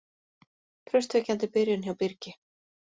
Traustvekjandi byrjun hjá Birgi